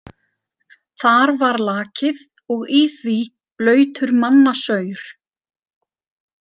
Þar var lakið og í því blautur mannasaur.